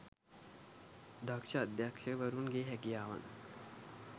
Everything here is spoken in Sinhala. දක්ෂ අධ්‍යක්ෂකවරුන් ගේ හැකියාවන්